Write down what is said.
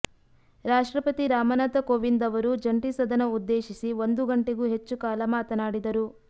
ರಾಷ್ಟ್ರಪತಿ ರಾಮನಾಥ ಕೋವಿಂದ್ ಅವರು ಜಂಟಿ ಸದನ ಉದ್ದೇಶಿಸಿ ಒಂದು ಗಂಟೆಗೂ ಹೆಚ್ಚು ಕಾಲ ಮಾತನಾಡಿದರು